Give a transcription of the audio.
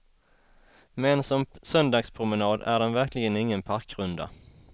Men som söndagspromenad är den verkligen ingen parkrunda.